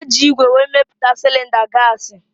Eji igwe wee meputa cilinda gasi